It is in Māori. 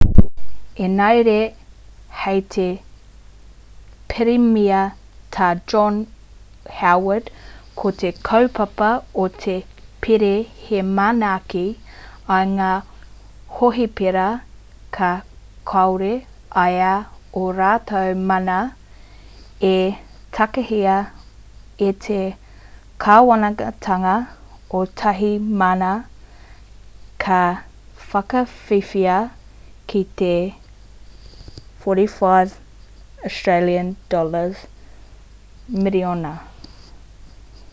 engari hei tā te pirimia tā john howard ko te kaupapa o te pire he manaaki i ngā hohipera kia kore ai ō rātou mana e takahia e te kāwanatanga o tāhimana ka whakawhiwhia ki te aud$45 miriona